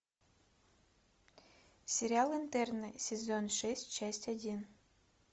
сериал интерны сезон шесть часть один